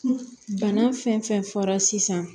Bana fɛn fɛn fɔra sisan